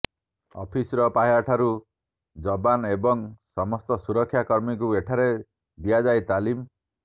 officer ପାହ୍ୟା ଠାରୁ ଯବାନ ଏବଂ ସମସ୍ତ ସୁରକ୍ଷା କର୍ମୀଙ୍କୁ ଏଠାରେ ଦିଆଯାଏ ତାଲିମ